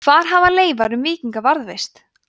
hvar hafa leifar um víkinga varðveist